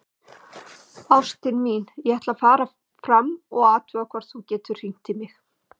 Ástin mín, ég ætla að fara fram og athuga hvort þú getir hringt í mig.